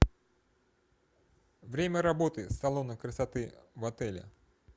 время работы салона красоты в отеле